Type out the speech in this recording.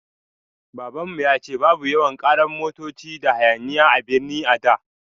Babanmu ya ce babu yawan ƙarar motoci da hayaniya a birni a da